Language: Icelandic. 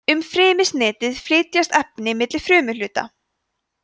um frymisnetið flytjast efni milli frumuhluta